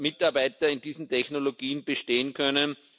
Mitarbeiter in diesen Technologien bestehen können.